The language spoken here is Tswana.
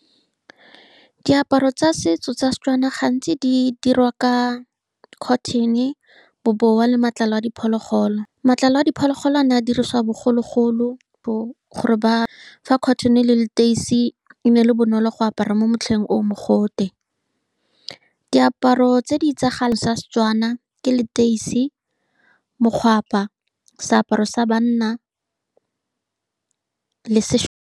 Diaparo tsa setso tsa Setswana gantsi di diriwa ka cotton-e, bobowa, le matlalo a diphologolo. Matlalo a diphologolo a ne a dirisiwa bogologolo gore ba, fa cotton-e le leteisi e ne e le bonolo go apara mo motlheng o o mogote. Diaparo tse di itsagaleng tsa Setswana ke leteisi, mokgwapa, seaparo sa banna, le .